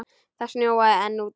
Það snjóaði enn úti.